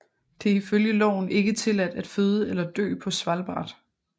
Det er i følge loven ikke tilladt at føde eller dø på Svalbard